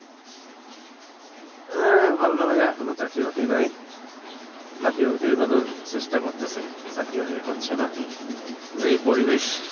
হ্যাঁ, ভালো না ভাইয়া, কোন চাকরি বাকরি নাই, চাকরি-বাকরির জন্য চেষ্টা করতেছে, চাকরি বাকরি হচ্ছে না। যেই পরিবেশ!